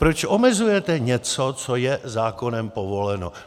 Proč omezujete něco, co je zákonem povoleno?